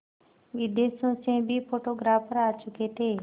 विदेशों से भी फोटोग्राफर आ चुके थे